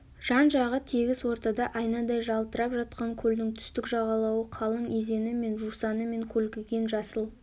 жан-жағы тегіс ортада айнадай жалтырап жатқан көлдің түстік жағалауы қалың изені мен жусаны мен көлкіген жасыл